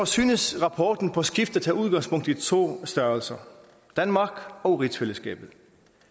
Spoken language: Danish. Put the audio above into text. synes rapporten på skift at tage udgangspunkt i to størrelser danmark og rigsfællesskabet